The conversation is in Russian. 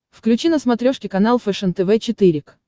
включи на смотрешке канал фэшен тв четыре к